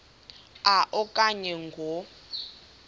a okanye ngo